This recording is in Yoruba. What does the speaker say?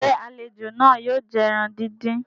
ṣe àlejò náà yóò jẹ ẹran dín dín?